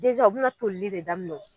Deza o bi na tolili de daminɛ o